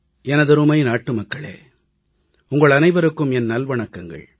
எனதருமை நாட்டுமக்களே உங்கள் அனைவருக்கும் என் நல்வணக்கங்கள்